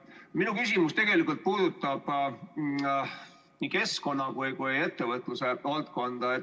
Minu küsimus puudutab nii keskkonna kui ettevõtluse valdkonda.